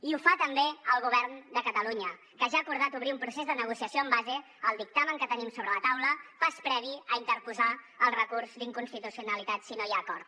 i ho fa també el govern de catalunya que ja ha acordat obrir un procés de negociació en base al dictamen que tenim sobre la taula pas previ a interposar el recurs d’inconstitucionalitat si no hi ha acord